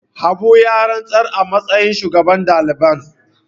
Habu ya rantsar a matsayin shugaban daliban.